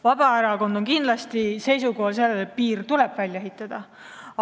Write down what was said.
Vabaerakond on kindlasti seisukohal, et piir tuleb välja ehitada.